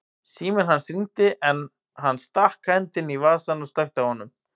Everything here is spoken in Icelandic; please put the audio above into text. Síminn hans hringdi en hann stakk hendinni í vasann og slökkti á honum.